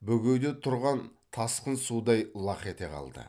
бөгеуде тұрған тасқын судай лақ ете қалды